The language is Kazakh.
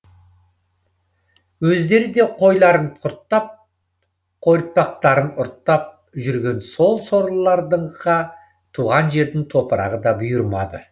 өздері де қойларын құрттап қойыртпақтарын ұрттап жүрген сол сорлыларға туған жердің топырағы да бұйырмады